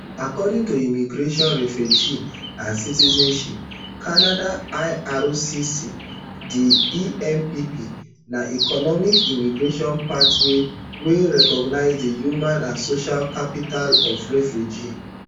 according to immigration refugees and citizenship canada ircc di empp na economic immigration pathway wey recognise di human and social capital of refugees